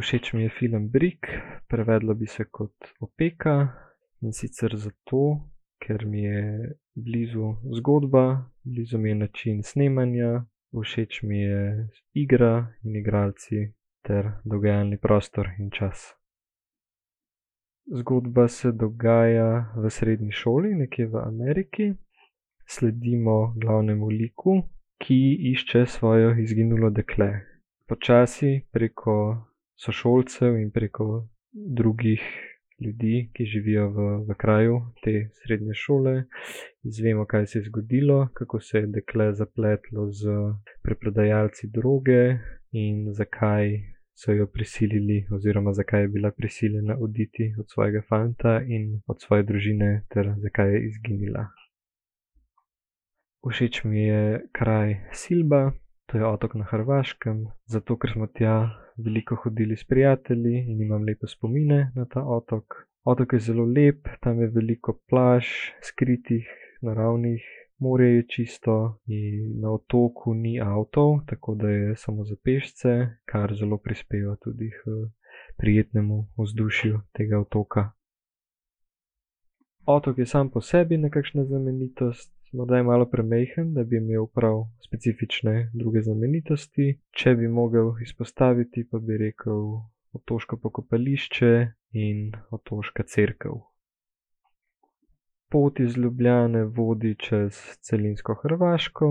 Všeč mi je film Brick. Prevedlo bi se kot Opeka. In sicer zato, ker mi je blizu zgodba, blizu mi je način snemanja, všeč mi je igra in igralci ter dogajalni prostor in čas. Zgodba se dogaja v srednji šoli nekje v Ameriki. Sledimo glavnemu liku, ki išče svojo izginulo dekle. Počasi preko sošolcev in preko drugih ljudi, ki živijo v, v kraju te srednje šole, izvemo, kaj se je zgodilo, kako se je dekle zapletlo s preprodajalci droge in zakaj so jo prisilili oziroma zakaj je bila prisiljena oditi od svojega fanta in od svoje družine ter zakaj je izginila. Všeč mi je kraj Silba. To je otok na Hrvaškem. Zato, ker smo tja veliko hodili s prijatelji in imam lepe spomine na ta otok. Otok je zelo lep, tam je veliko plaž, skritih, naravnih. Morje je čisto in na otoku ni avtov, tako da je samo za pešce, kar zelo prispeva tudi k prijetnemu vzdušju tega otoka. Otok je sam po sebi neka znamenitost. Morda je malo premajhen, da bi imel prav specifične druge znamenitosti. Če bi mogel izpostaviti, pa bi rekli otoško pokopališče in otoška cerkev. Pot iz Ljubljane vodi čez celinsko Hrvaško,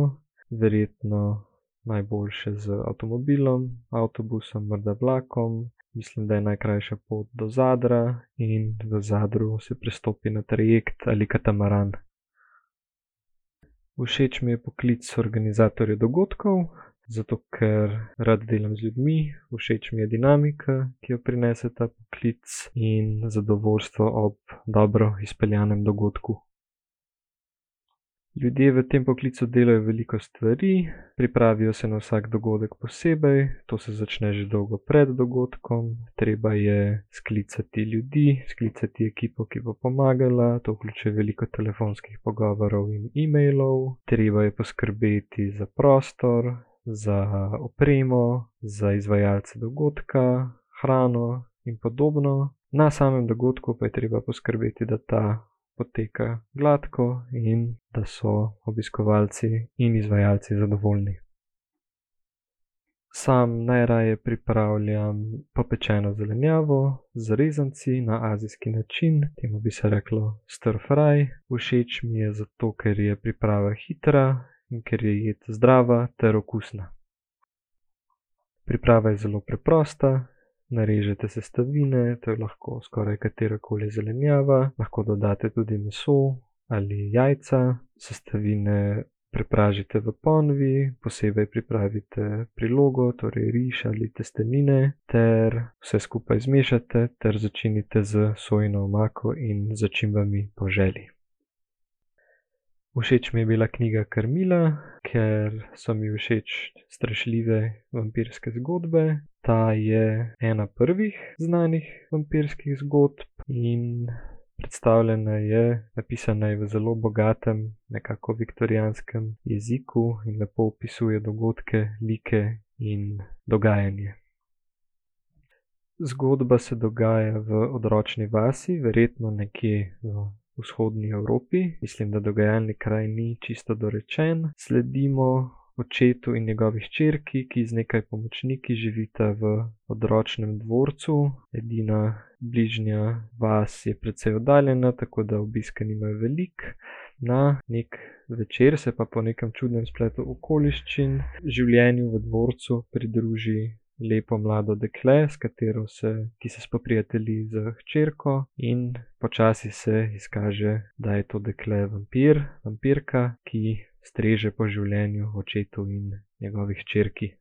verjetno najboljše z avtomobilom, avtobusom, morda vlakom. Mislim, da je najkrajša pot do Zadra in v Zadru se prestopi na trajekt ali katamaran. Všeč mi je poklic organizatorja dogodkov, zato ker rad delam z ljudmi. Všeč mi je dinamika, ki jo prinese ta poklic, in zadovoljstvo ob dobro izpeljanem dogodku. Ljudje v tem poklicu delajo veliko stvari. Pripravijo se na vsak dogodek posebej. To se začne že dolgo pred dogodkom. Treba je sklicati ljudi, sklicati ekipo, ki bo pomagala. To vključuje veliko telefonskih pogovorov in e-mailov. Treba je poskrbeti za prostor, za opremo, za izvajalce dogodka, hrano in podobno. Na samem dogodku pa je treba poskrbeti, da ta poteka gladko in da so obiskovalci in izvajalci zadovoljni. Sam najraje pripravljam popečeno zelenjavo z rezanci na azijski način. Temu bi se reklo star fry. Všeč mi je zato, ker je priprava hitra in ker je jed zdrava ter okusna. Priprava je zelo preprosta. Narežete sestavine. To je lahko skoraj katerakoli zelenjava. Lahko dodate tudi meso ali jajca. Sestavine prepražite v ponvi, posebej pripravite prilogo, torej riž ali testenine, ter vse skupaj zmešate ter začinite s sojino omako in začimbami po želji. Všeč mi je bila knjiga Carmilla, ker so mi všeč strašljive vampirske zgodbe. Ta je ena prvih znanih vampirskih zgodb in predstavljena je, napisana je v zelo bogatem, nekako viktorijanskem jeziku in lepo opisuje dogodke, like in dogajanje. Zgodba se dogaja v odročni vasi, verjetno nekje v Vzhodni Evropi, mislim, da dogajalni kraj ni čisto dorečen. Sledimo očetu in njegovi hčerki, ki z nekaj pomočniki živita v odročnem dvorcu. Edina bližnja vas je precej oddaljena, tako da obiske nimajo veliko. Na neki večer se pa po nekem čudnem spletu okoliščin življenju v dvorcu pridruži lepo mlado dekle, s katero se, ki se spoprijatelji s hčerko, in počasi se izkaže, da je to dekle vampir, vampirka, ki streže po življenju očetu in njegovi hčerki.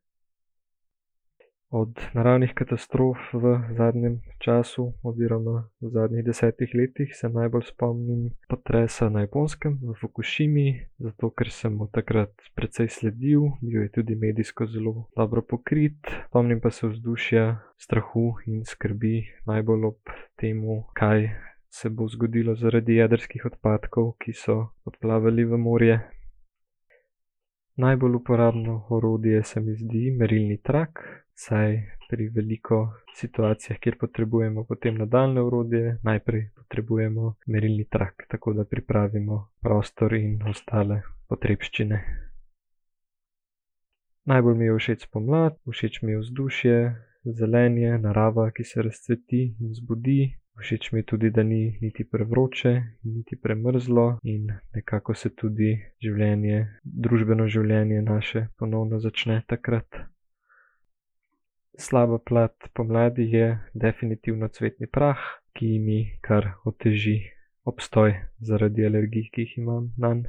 Od naravnih katastrof v zadnjem času oziroma v zadnjih desetih letih se najbolj spomnim potresa na Japonskem, v Fukušimi, zato ker sem mu takrat precej sledil, bil je tudi medijsko zelo dobro pokrit. Spomnim pa se vzdušja strahu in skrbi, najbolj ob tem, kaj se bo zgodilo zaradi jedrskih odpadkov, ki so odplavali v morje. Najbolj uporabno orodje se mi zdi merilni trak, saj pri veliko situacijah, kjer potrebujemo potem nadaljnje orodje, najprej potrebujemo merilni trak, tako da pripravimo prostor in ostale potrebščine. Najbolj mi je všeč pomlad. Všeč mi je vzdušje, zelenje, narava, ki se razcveti in zbudi. Všeč mi je tudi, da ni niti prevroče niti premrzlo, in nekako se tudi življenje, družbeno življenje naše ponovno začne takrat. Slaba plat pomladi je definitivno cvetni prah, ki mi kar oteži obstoj zaradi alergij, ki jih imam nanj.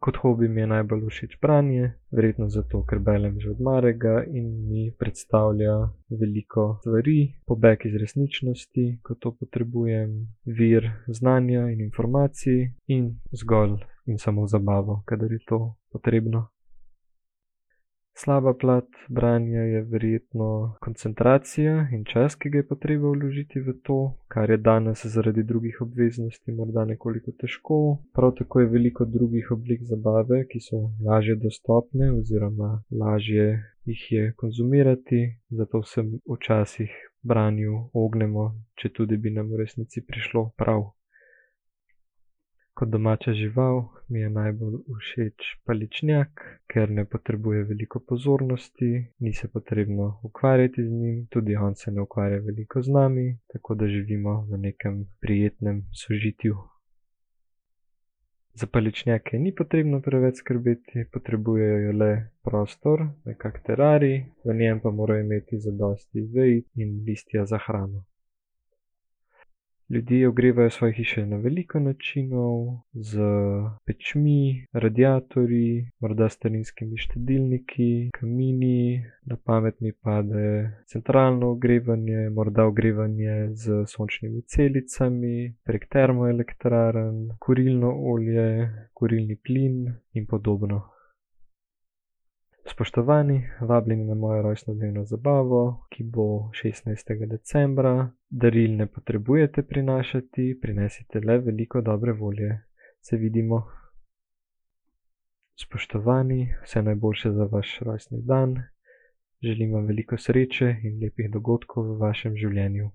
Kot hobi mi je najbolj všeč branje. Verjetno zato, ker berem že od malega in mi predstavlja veliko stvari, pobeg iz resničnosti, ko to potrebujem, vir znanja in informacij in zgolj in samo zabavo, kadar je to potrebno. Slaba plat branja je verjetno koncentracija in čas, ki ga je potrebno vložiti v to, kar je danes zaradi drugih obveznosti morda nekoliko težko. Prav tako je veliko drugih oblik zabave, ki so lažje dostopne oziroma lažje jih je konzumirati, zato se včasih branju ognemo, četudi bi nam v resnici prišlo prav. Kot domača žival mi je najbolj všeč paličnjak, ker ne potrebuje veliko pozornosti, ni se potrebno ukvarjati z njim, tudi on se ne ukvarja veliko z nami, tako da živimo v nekem prijetnem sožitju. Za paličnjake ni potrebno preveč skrbeti, potrebujejo le prostor, nekako terarij, v njem pa morajo imeti zadosti vej in listja za hrano. Ljudje ogrevajo svoje hiše na veliko načinov. S pečmi, radiatorji, morda starinskimi štedilniki, kamini, na pamet mi pade centralno ogrevanje, morda ogrevanje s sončnimi celicami, prek termoelektrarn, na kurilno olje, kurilni plin in podobno. Spoštovani, vabljeni na mojo rojstnodnevno zabavo, ki bo šestnajstega decembra. Daril ne potrebujte prinašati, prinesite le veliko dobre volje. Se vidimo. Spoštovani, vse najboljše za vaš rojstni dan. Želim vam veliko sreče in lepih dogodkov v vašem življenju.